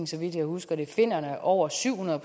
så vidt jeg husker det finnerne over syv hundrede